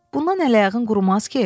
Bundan əl-ayağın qurumaz ki?